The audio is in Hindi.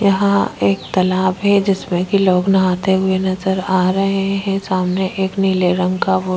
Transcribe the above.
यहाँ एक तालाब है जिसमें की लोग नहाते हुए नज़र आ रहा है सामने एक नीले रंग का बोर्ड --